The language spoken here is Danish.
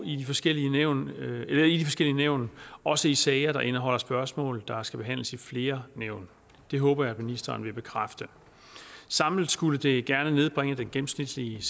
i de forskellige nævn nævn også i sager der indeholder spørgsmål der skal behandles i flere nævn det håber jeg at ministeren vil bekræfte samlet skulle det gerne nedbringe den gennemsnitlige